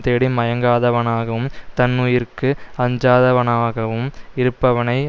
தேடி மயங்காதவனாகவும் தன்னுயிருக்கு அஞ்சாதவனாகவும் இருப்பவனை